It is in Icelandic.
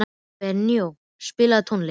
Benóný, spilaðu tónlist.